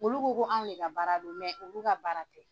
Olu ko ko anw de ka baara don olu ka baara tɛ.